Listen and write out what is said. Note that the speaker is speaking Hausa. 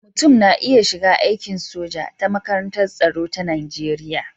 Mutum na iya shiga aikin soja ta makarantar tsaro ta Najeriya.